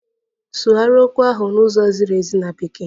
Ịsụgharị okwu ahụ n'ụzọ ziri ezi na Bekee!